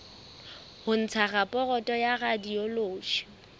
ho ntsha raporoto ya radiology